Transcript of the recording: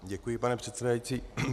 Děkuji, pane předsedající.